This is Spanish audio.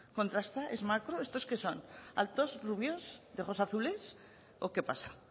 kontrasta es macro estos qué son altos rubios de ojos azules o qué pasa